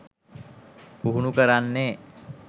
පුහුණු කරන්නෙ.